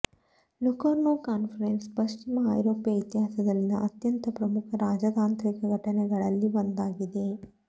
Locarno conference ಪಶ್ಚಿಮ ಐರೋಪ್ಯ ಇತಿಹಾಸದಲ್ಲಿನ ಅತ್ಯಂತ ಪ್ರಮುಖ ರಾಜತಾಂತ್ರಿಕ ಘಟನೆಗಳಲ್ಲಿ ಒಂದಾಗಿದೆ